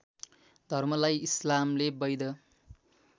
धर्मलाई इस्लामले वैध